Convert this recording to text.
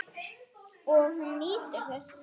Og hún nýtur þess.